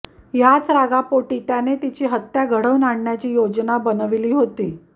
याच रागापोटी त्याने तिची हत्या घडवून आणण्याची योजना बनविली होती